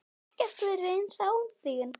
Ekkert verður eins án þín.